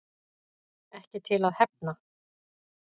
Ekki til að hefna